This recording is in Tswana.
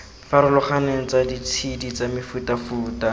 farologaneng tsa ditshedi tsa mefutafuta